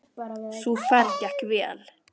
Sú ferð gekk vel.